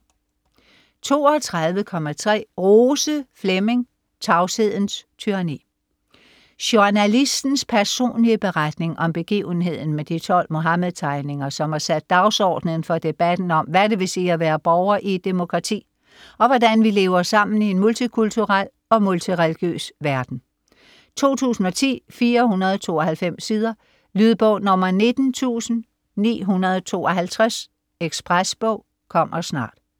32.3 Rose, Flemming: Tavshedens tyranni Journalistens personlige beretning om begivenheden med de 12 Muhammed-tegninger, som har sat dagsordenen for debatten om, hvad det vil sige at være borger i et demokrati, og hvordan vi lever sammen i en multikulturel og multireligiøs verden. 2010, 492 sider. Lydbog 19952 Ekspresbog - kommer snart